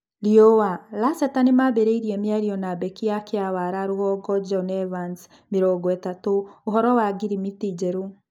(Riũa) Laceta Nĩmaambĩrĩirie mĩario na mbeki wa Kĩawara Rũgongo John Evans, mĩrongoĩtatũ, ũhoro wa ngirimiti njerũ.